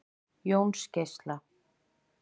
Jónsgeisla